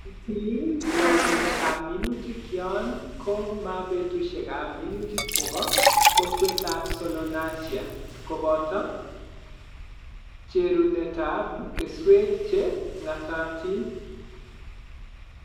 itilil waljinetap minutik yon ko ma petusyekap minutik che ba kokwetap Solanacea, koboto cherunetap keswek che ng'atatin